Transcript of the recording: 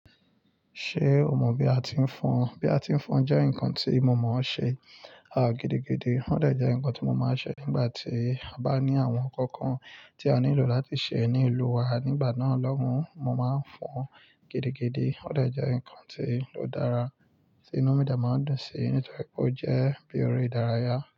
Ṣé o mọ bí a ti ń fọn? Bí a ti ń fọn jẹ́ nǹkan tí mo mò ṣe, à, gidigidi. Ó dè jẹ́ nǹkan tí mo máa ṣe nígbà tí a bá ní àwọn ǹkan kan tí a nílò láti ṣe ní ìlú wa. Nígbà náà lọ́hùn, mo máa ń fọn gidigidi. Ó dè jẹ́ ǹkan tío ó dára, tí inú mi dé máa ń dùn síi nítorí pé ó jẹ́ eré ìdárayá.